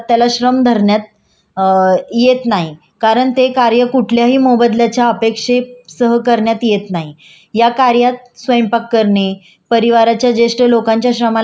या कार्यात स्वयंपाक करणे परिवाराच्या ज्येष्ठ लोकांच्या श्रमाला अनुत्पादन श्रम करणे किंवा घरातल्यांचं काळजी घेणे वगैरे असं म्हटलं तरी चालेल